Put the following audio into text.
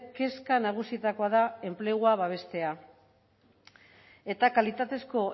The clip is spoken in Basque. kezka nagusietakoa da enplegua babestea eta kalitatezko